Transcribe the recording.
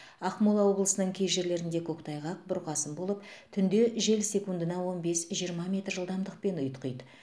ақмола облысының кей жерлерінде көктайғақ бұрқасын болып түнде жел секундына он бес жиырма метр жылдамдықпен ұйтқиды